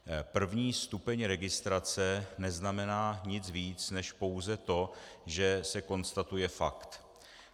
První stupeň registrace neznamená nic víc než pouze to, že se konstatuje fakt.